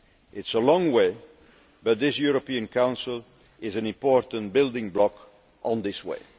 It is a long way, but this European Council is an important building block on this way.